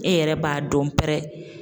E yɛrɛ b'a dɔn pɛrɛ.